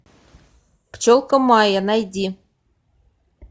пчелка майя найди